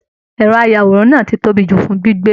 Ẹrọ ayàwòrán náà tí tóbi jù fún gbígbé.